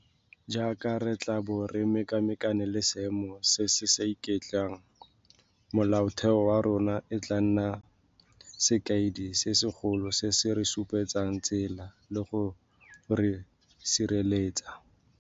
Jaaka re tla bo re mekamekana le seemo se se sa iketlang, Molaotheo wa rona e tla nna sekaedi se segolo se se re supetsang tsela le go re sireletsa.